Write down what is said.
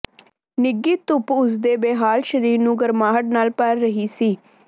ਨਿੱਘੀ ਧੁੱਪ ਉਸਦੇ ਬੇਹਾਲ ਸਰੀਰ ਨੂੰ ਗਰਮਾਹਟ ਨਾਲ਼ ਭਰ ਰਹੀ ਸੀ